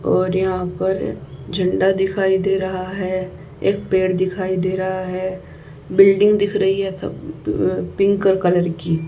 और यहां पर झंडा दिखाई दे रहा है एक पेड़ दिखाई दे रहा है बिल्डिंग दिख रही है सब प पिंक कलर की।